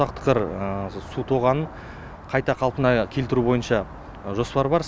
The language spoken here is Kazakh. құндақтықыр су тоғанын қайта қалпына келтіру бойынша жоспар бар